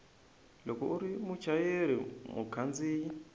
loko u ri muchayeri mukhandziyi